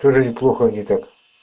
тоже неплохо не так